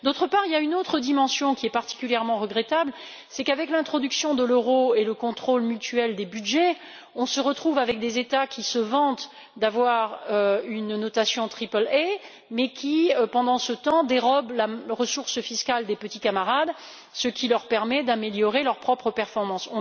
D'autre part, il y a une autre dimension particulièrement regrettable avec l'introduction de l'euro et le contrôle mutuel des budgets, on se retrouve avec des États qui se vantent d'avoir une notation triple A mais qui, pendant ce temps, dérobent les ressources fiscales des petits camarades, ce qui leur permet d'améliorer leurs propres performances.